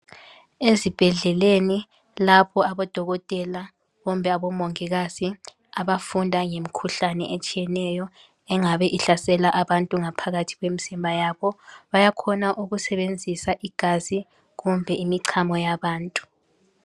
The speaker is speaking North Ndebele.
Ezibhedleleni lapho abodokotela kumbe obomongikazi abafunda ngemkhuhlane etshiyeneyo engabe ihlasela abantu ngaphakathi kwemzimba yabo, bayakhona ukusebenzisa igazi kumbe imichamo yabantu.